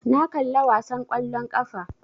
Na kalla wasan ƙwallon ƙafa